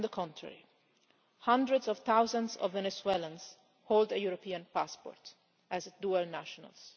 On the contrary, hundreds of thousands of Venezuelans hold a European passport as dual nationals.